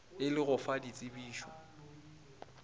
e le go fa ditsebišo